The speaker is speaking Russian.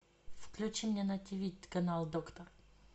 включи мне на тиви канал доктор